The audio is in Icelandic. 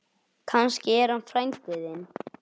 Kannski er hann frændi þinn.